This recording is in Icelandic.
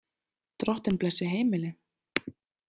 Drottinn blessi heimilið!